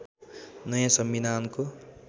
नयाँ संविधानको